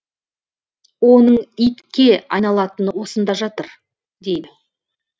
оның итке айналатыны осында жатыр дейді